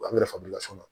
An bɛ nafa min las'a ma